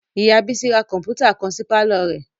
Ìyá Bísí ra kọ̀mpútà kan sí pàlọ́ rẹ̀